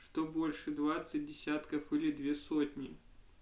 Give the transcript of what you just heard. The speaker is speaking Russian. что больше двадцать десятков или две сотни